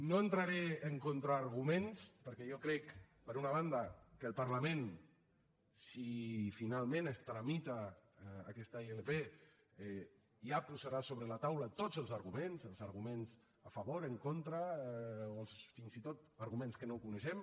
no entraré en contraarguments perquè jo crec per una banda que el parlament si finalment es tramita aquesta ilp ja posarà sobre la taula tots els arguments els arguments a favor en contra o fins i tot arguments que no coneixem